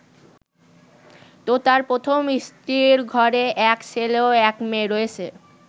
তোতার প্রথম স্ত্রীর ঘরে এক ছেলে ও এক মেয়ে রয়েছে।